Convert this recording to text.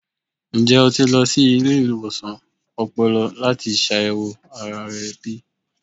Njẹ o ti lọ si ile-iwosan ọpọlọ lati ṣayẹwo ara rẹ bi?